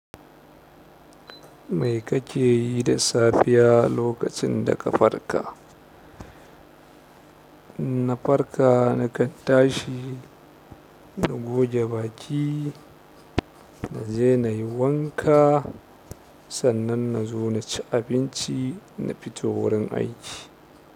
Mai kake yi da safiya lokacin da ka farka na farka, na kan tashi, na goge baki, na je na yi wanka, sannan na zo na ci abinci na fito wurin aiki.